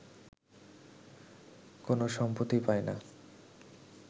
কোন সম্পত্তি পায়না